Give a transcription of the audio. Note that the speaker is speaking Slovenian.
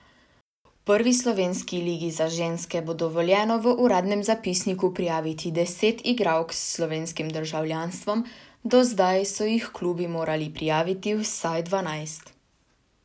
V prvi slovenski ligi za ženske bo dovoljeno v uradnem zapisniku prijaviti deset igralk s slovenskim državljanstvom, do zdaj so jih klubi morali prijaviti vsaj dvanajst.